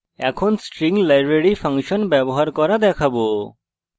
এখন আমরা string library function ব্যবহার করা দেখবো